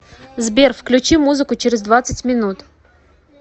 сбер включи музыку через двадцать минут